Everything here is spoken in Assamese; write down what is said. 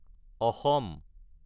আছাম